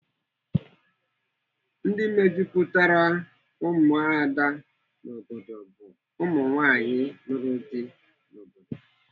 Ndị mejupụtara ụmụada n'obodo bụ ụmụnwaanyị lụrụ di n'obodo.